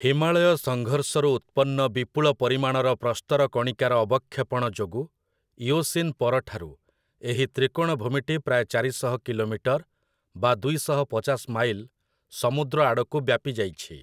ହିମାଳୟ ସଂଘର୍ଷରୁ ଉତ୍ପନ୍ନ ବିପୁଳ ପରିମାଣର ପ୍ରସ୍ତରକଣିକାର ଅବକ୍ଷେପଣ ଯୋଗୁ, ଇଓସିନ୍ ପରଠାରୁ ଏହି ତ୍ରିକୋଣଭୂମିଟି ପ୍ରାୟ ଚାରିଶହ କିଲୋମିଟର୍ ବା ଦୁଇଶହ ପଚାଶ ମାଇଲ୍ ସମୁଦ୍ର ଆଡ଼କୁ ବ୍ୟାପିଯାଇଛି ।